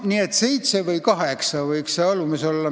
Nii et seitse või kaheksa mandaati võiks siin olla.